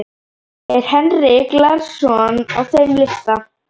Er Henrik Larsson á þeim lista?